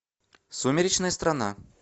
сумеречная страна